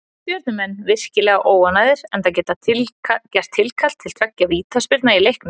Stjörnumenn virkilega óánægðir enda gert tilkall til tveggja vítaspyrna í leiknum.